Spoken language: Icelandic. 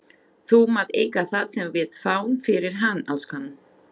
Þú mátt eiga það sem við fáum fyrir hann, elskan.